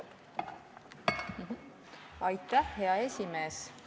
Hea esimees!